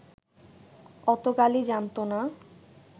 অত গালি জানতো না